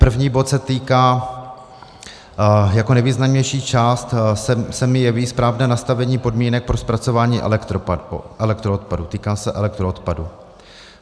První bod se týká - jako nejvýznamnější část se mi jeví správné nastavení podmínek pro zpracování elektroodpadu, týká se elektroodpadu.